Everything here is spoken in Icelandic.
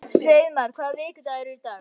Hreiðmar, hvaða vikudagur er í dag?